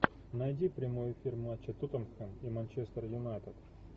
найди прямой эфир матча тоттенхэм и манчестер юнайтед